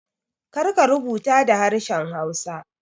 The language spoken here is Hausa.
Kar ka rubuta da harshen hausa